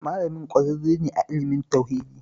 Malamin ƙwararre ne a ilimin tauhidi